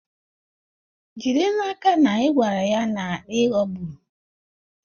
Jide n'aka na ị gwara ya na ị ghọgburu.